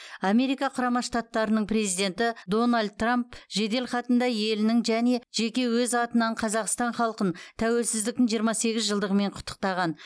америка құрама штаттарының президенті дональд трамп жеделхатында елінің және жеке өз атынан қазақстан халқын тәуелсіздіктің жиырма сегіз жылдығымен құттықтаған